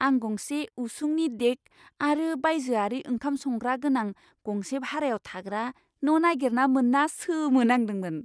आं गंसे उसुंनि डेक आरो बायजोआरि ओंखाम संग्रा गोनां गंसे भारायाव थाग्रा न' नागिरना मोन्ना सोमोनांदोंमोन।